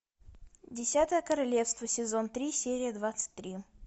десятое королевство сезон три серия двадцать три